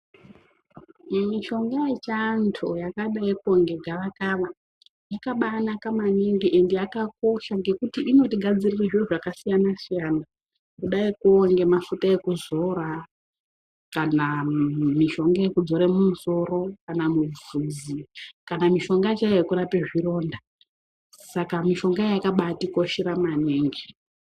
Mishonga ye chando yakadaiko nge gava kava yakabai naka maningi ende yakakosha ngekuti inoti gadzirire zviro zvaka siyana siyana kudaiko nge mafuta ekuzora kana mishonga yeku dzore mu musoro kana mubvudzi kana mishonga chaiyo yeku rape zvironda saka mishonga yakabaiti koshera maningi.